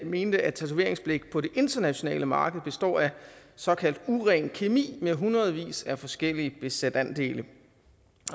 mente at tatoveringsblæk på det internationale marked består af såkaldt uren kemi med hundredvis af forskellige bestanddele